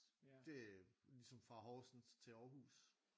Det ligesom fra Horsens til Aarhus